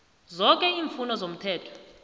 zoke iimfuno zomthetho